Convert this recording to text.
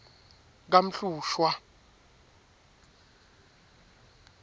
kamhlushwa